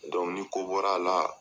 ni ko bɔra a la.